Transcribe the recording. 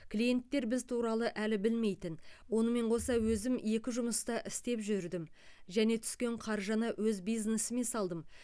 клиенттер біз туралы әлі білмейтін онымен қоса өзім екі жұмыста істеп жүрдім және түскен қаржыны өз бизнесіме салдым